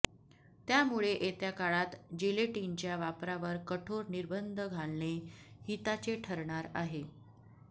त्यामुळे येत्या काळात जिलेटीनच्या वापरावर कठोर निबर्ंंध घालणे हिताचे ठरणार आहे